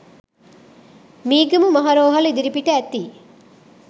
මීගමු මහ රෝහල ඉදිරිපිට ඇති